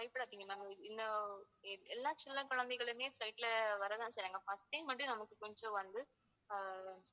பயப்படாதீங்க ma'am இந்த எல்லா சின்ன குழந்தைகளுமே flight ல வரதா செய்றாங்க first time வந்து நமக்கு கொஞ்சம் வந்து அஹ்